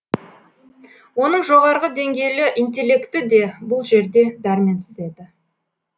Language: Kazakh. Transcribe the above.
оның жоғарғы деңгейлі интелекті де бұл жерде дәрменсіз еді